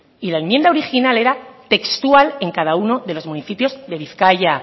y la enmienda original era textual en cada uno de los municipios de bizkaia